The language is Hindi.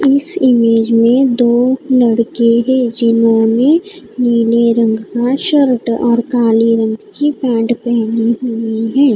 इस इमेज मे दो लड़के हैं जिन्होंने नीले रंग का शर्ट और काली रंग की पैंट पहनी हुई हैं--